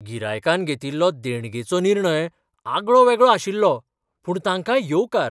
गिरायकान घेतिल्लो देणगेचो निर्णय आगळो वेगळो आशिल्लो, पूण तांकां येवकार .